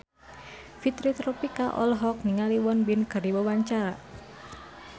Fitri Tropika olohok ningali Won Bin keur diwawancara